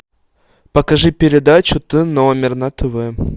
покажи передачу т номер на тв